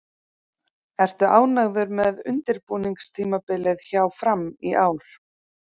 Ertu ánægður með undirbúningstímabilið hjá Fram í ár?